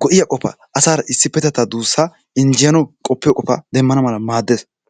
go'iya qofaa asaa ra issippetettaa duusaa injjeyanawu qoppiyo qofaa demana mala maadees.